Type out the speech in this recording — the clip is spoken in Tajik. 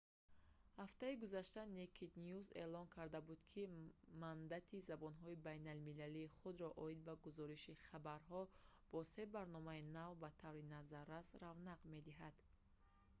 ҳафтаи гузашта «naked news» эълон карда буд ки мандати забонҳои байналмилалии худро оид ба гузориши хабарҳо бо се барномаи нав ба таври назаррас равнақ медиҳад